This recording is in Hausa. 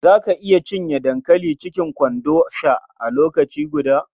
Za ka iya cinye dankali cikin kwanon sha a lokaci guda?